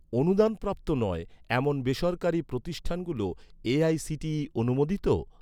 অনুদানপ্রাপ্ত নয়, এমন বেসরকারি প্রতিষ্ঠানগুলো এ.আই.সি.টি.ই অনুমোদিত?